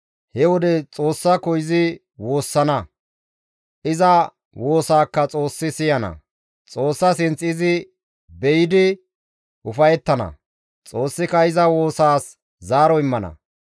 He wode Xoossako izi woossana. Iza woosaakka Xoossi siyana; Xoossa sinth izi be7idi ufayettana; Xoossika iza woosaas zaaro immana.